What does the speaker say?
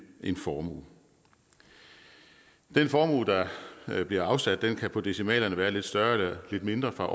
en formue den formue der bliver afsat kan på decimalerne være lidt større eller lidt mindre fra